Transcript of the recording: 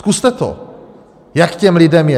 Zkuste to, jak těm lidem je.